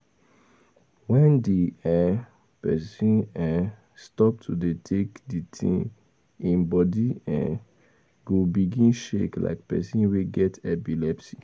When di um person um stop to dey take di thing im body um go begin shake like person wey get epilepsy